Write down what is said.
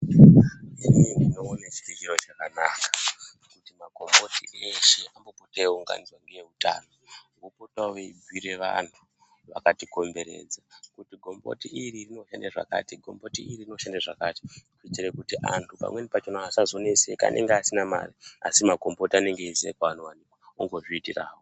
Inini ndinoone chiri chiro chakanaka kuti makomboti eshe ombopota eiunganidzwa ngeutano opotawo eibhire vantu vakatikomberedza kuti gomboti iri rinoshande zvakati , gomboti iri rinoshande zvakati kuitire kuti antu pamweni pachona asazoneseka anenge asina mare asi makomboti anenge eiziya kwaanowanikwa ongozviitirawo.